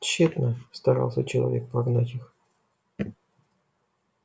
тщетно старался человек прогнать их